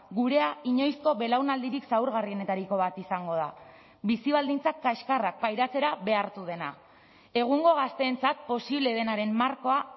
gurea inoizko belaunaldirik zaurgarrienetariko bat izango da bizi baldintzak kaxkarrak pairatzera behartu dena egungo gazteentzat posible denaren markoa